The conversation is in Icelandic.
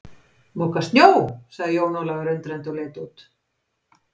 Moka snjó, sagði Jón Ólafur undrandi og leit út.